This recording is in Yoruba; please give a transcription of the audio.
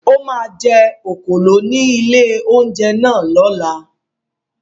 Ó máa jẹ òkòló ní ilé-oúnjẹ náà lọ́la.